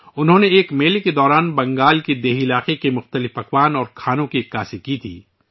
انہوں نے ایک میلے کے دوران بنگال کے دیہی علاقوں کے کھانے کی نمائش کی تھی